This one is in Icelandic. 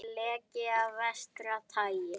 Leki af versta tagi